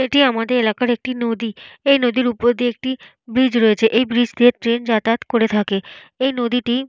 এটি আমাদের এলাকার একটি নদী। এই নদীর উপর দিয়ে একটি বীজ রয়েছে। এই ব্রিজ দিয়ে ট্রেন যাতায়াত করে থাকে। এই নদীটি --